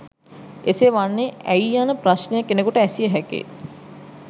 එසේ වන්නේ ඇයි යන ප්‍රශ්නය කෙනෙකුට ඇසිය හැකියි.